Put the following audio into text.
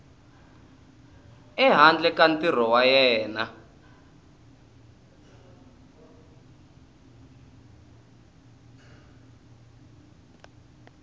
ehandle ka ntirho wa yena